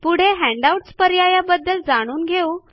पुढे हँडआउट्स पर्यायाबद्दल जाणून घेऊ या